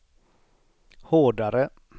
hårdare